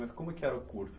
Mas como que era o curso?